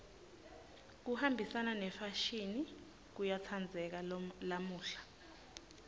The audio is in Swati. kuhambisana nemfashini kuyatsandzeka lamuhla